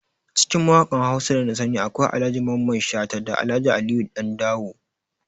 Cikin mawakan Hausa da nasani akwai Ahaji Mamman Shata da Alhaji Aliyu Dandawo